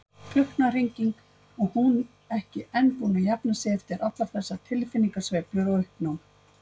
Klukknahringing, og hún ekki enn búin að jafna sig eftir allar þessar tilfinningasveiflur og uppnám.